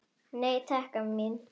Nei, takk, amma mín.